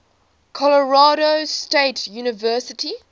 colorado state university